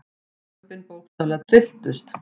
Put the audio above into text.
Lömbin bókstaflega trylltust.